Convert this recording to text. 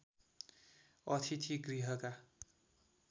अतिथि गृहका